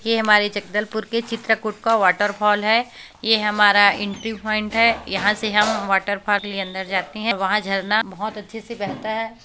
ये हमारे जगदलपुर के चित्रकोट का वॉटरफॉल है ये हमारा एंट्री पॉइंट हैं यहाँ से हम वॉटरफॉल के लिए अंदर जाते हैं वहाँ झरना बहुत अच्छे से बहता हैं।